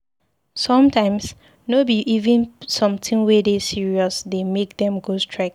Sometimes no be even sometin we dey serious dey make dem go strike.